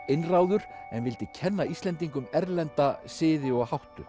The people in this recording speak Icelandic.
einráður en vildi kenna Íslendingum erlenda siði og